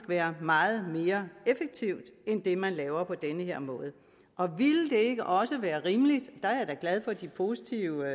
være meget mere effektivt end det man laver på den her måde og ville det ikke også være rimeligt der er jeg da glad for de positive